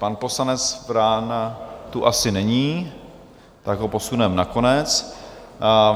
Pan poslanec Vrána tu asi není, tak ho posuneme na konec.